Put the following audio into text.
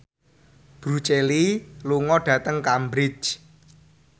Bruce Lee lunga dhateng Cambridge